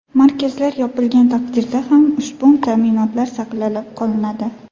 Markazlar yopilgan taqdirda ham ushbu ta’minotlar saqlab qolinadi.